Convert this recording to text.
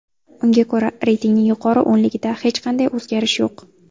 Unga ko‘ra, reytingning yuqori o‘nligida hech qanday o‘zgarish yo‘q.